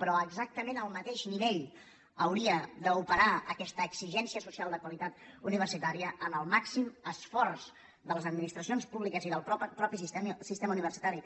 però exactament al mateix nivell hauria d’operar aquesta exigència social de qualitat universitària en el màxim esforç de les administracions públiques i del mateix sistema universitari